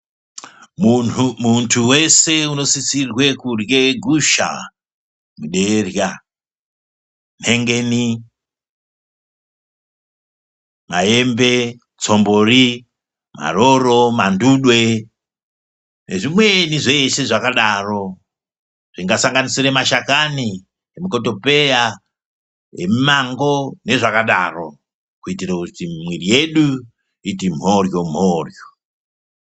Muntu weshe unosisirwe kurya gushan nderya, nhengeni, maembe tsvombori, maroro, nezvimweni zveshe zvakadaro zvingasanganisire mashakani emukotopeya, emumango, kuitira kuti mwiri yedu iti mhoryo mhoryo.